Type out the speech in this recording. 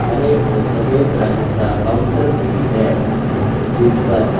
हरे और सफेद रंग का काउंटर भी है जीस पर--